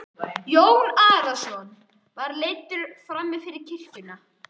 Jón Arason var leiddur fram fyrir kirkjuna.